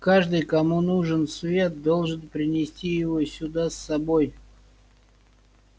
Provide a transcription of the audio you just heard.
каждый кому нужен свет должен принести его сюда с собой